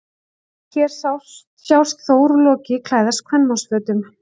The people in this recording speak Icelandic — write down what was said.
Hér sjást Þór og Loki klæðast kvenmannsfötum.